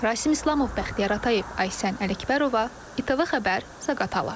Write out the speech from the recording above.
Rasim İslamov, Bəxtiyar Atayev, Aysən Ələkbərova, ATV xəbər, Zaqatala.